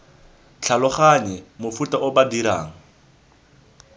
tlhaloganye mofuta o ba dirang